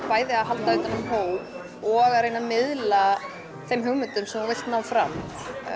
bæði að halda utan um hóp og að reyna að miðla þeim hugmyndum sem þú vilt ná fram